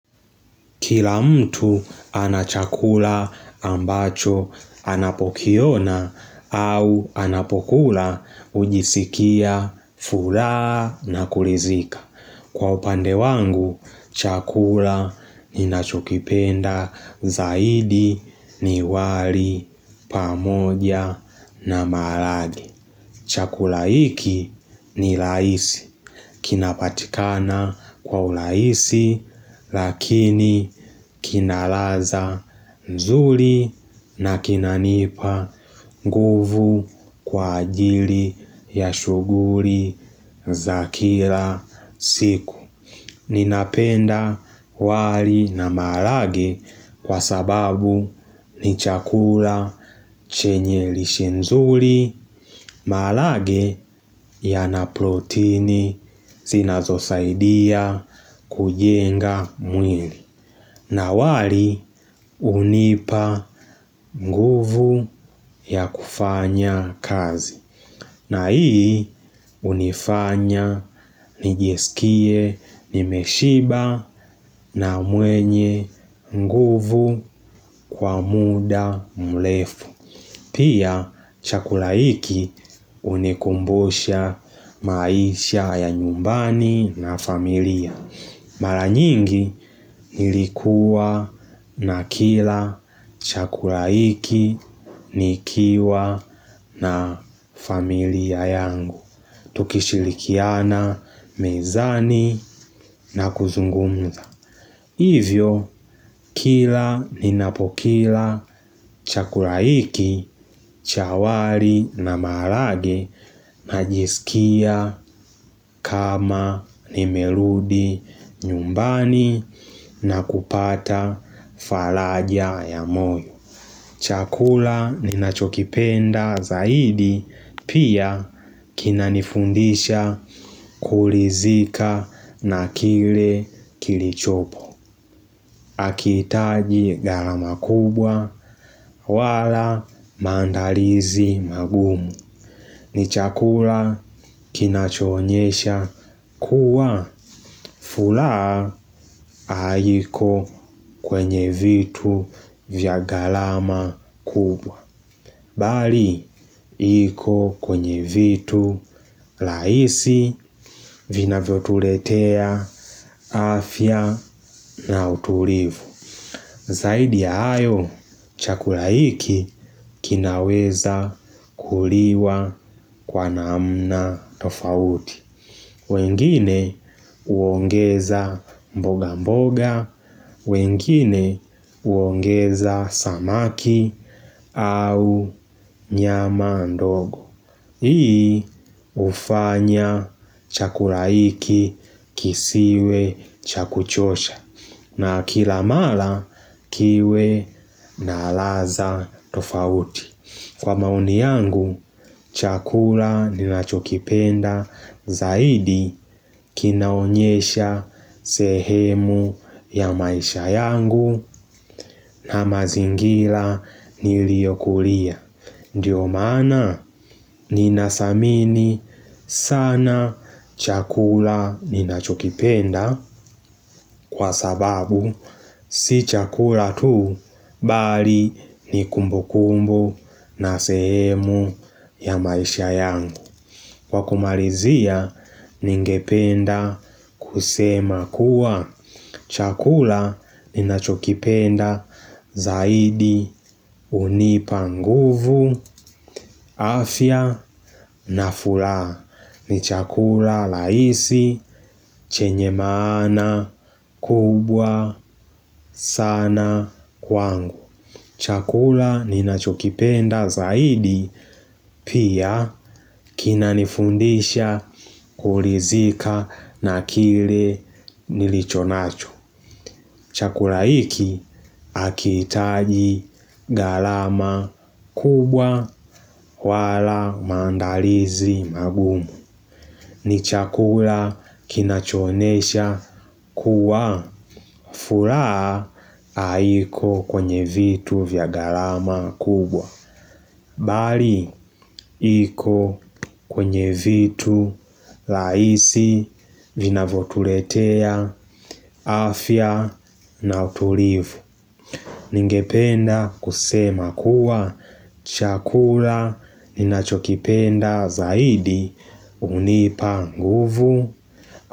Kila mtu anachakula ambacho anapokiona au anapokula hujisikia, fulaa na kulizika. Kwa upande wangu, chakula ninachokipenda zaidi, ni wali, pamoja na maarage. Chakula hiki, ni laisi, kinapatikana, kwa ulaisi, lakini, kina laza, nzuri na kinanipa nguvu kwa ajili ya shuguri nz za kila siku. Ninapenda wali na maalage kwa sababu ni chakula chenye lishe nzuli. Maalage yana proteini zinazosaidia kujenga mwili. Na wali unipa nguvu ya kufanya kazi. Na hii unifanya nijeskie nimeshiba na mwenye nguvu kwa muda mlefu. Pia, chakula hiki unikumbusha maisha ya nyumbani na familia. Mara nyingi nilikua na kila chakula hiki nikiwa na familia yangu. Tukishilikiana mezani na kuzungumza. Hivyo kila ninapokila chakula hiki, cha wali na maarage, najisikia kama nimerudi nyumbani na kupata falaja ya moyo. Chakula ninachokipenda zaidi pia kinanifundisha kulizika na kile kilichopo. Akiitaji galama kubwa, wala maandalizi magumu. Ni chakula kinachoonyesha kuwa, fulaa ha ayiko kwenye vitu vya galama kubwa. Bali, yiko kwenye vitu laisi vinavyotuletea afya na utulivu. Z Zaidi ya hayo chakula hiki kinaweza kuliwa kwa naamna tofauti. Wengine uongeza mboga mboga, wengine uongeza samaki au nyama ndogo. Hii ufanya chakula hiki kisiwe chakuchosha. Na kilamala kiwe na alaza tofauti. Kwa maoni yangu chakula ninachokipenda zaidi kinaonyesha sehemu ya maisha yangu na mazingira niliokulia. Ndiyo maana, ninasamini sana chakula ninachokipenda kwa sababu si chakula tu bali ni kumbukumbu na sehemu ya maisha yangu. Wakumarizia ningependa kusema kuwa, chakula ninachokipenda zaidi unipa nguvu, a afya na fulaa. Ni chakula laisi chenye maana kubwa sana kwangu. Chakula ninachokipenda zaidi pia kinanifundisha kulizika na kile nilichonacho. Chakula hiki akiitaji galama kubwa wala maandalizi magumu. Ni chakula kinachoonesha kuwa fulaha aiko kwenye vitu vya galama kubwa. Bali, iko kwenye vitu, laisi, vinavotuletea, afya, na utulivu. Ningependa kusema kuwa, chakula ninachokipenda zaidi unipa nguvu.